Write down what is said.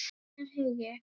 Einar Hugi.